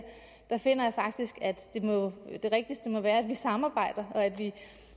finder jeg faktisk at det rigtigste må være at vi samarbejder og